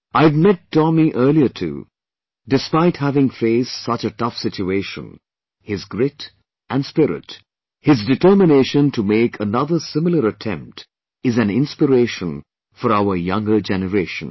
I had met Tomy earlier too Despite having faced such a tough situation; his grit & spirit, his determination to make another similar attempt is an inspiration for our younger generation